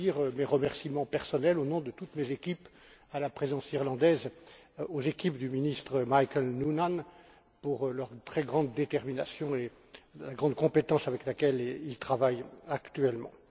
Je veux dire mes remerciements personnels, au nom de toutes mes équipes, à la Présidence irlandaise, aux équipes du ministre Michael Noonan pour leur très grande détermination et la grande compétence avec laquelle ils travaillent actuellement.